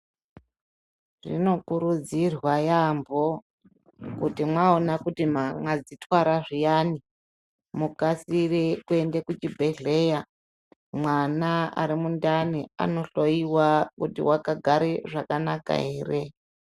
Zvinokurudzirwa yaampho, kuti mwaona kuti mwakadzithwara zviyani. Mukasire kuende kuchibhedhlera mwana ari mundani anohloiwa kuti wakagara zvakanaka ere.